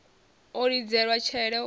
u lidzelwa tshele hu a